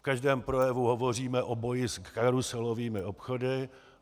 V každém projevu hovoříme o boji s karuselovými obchody.